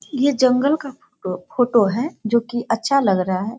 ये जंगल का फोटो फोटो है जो की अच्छा लग रहा है।